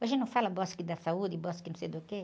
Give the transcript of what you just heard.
Hoje não fala bosque da saúde, bosque não sei do quê?